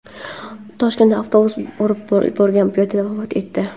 Toshkentda avtobus urib yuborgan piyoda vafot etdi.